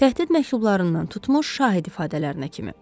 Təhdid məktublarından tutmuş şahid ifadələrinə kimi.